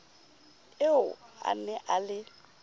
eo a ne a le